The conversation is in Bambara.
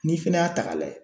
N'i fɛnɛ y'a ta k'a lajɛ.